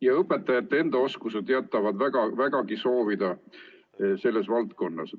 Ja õpetajate enda oskused jätavad vägagi soovida selles valdkonnas.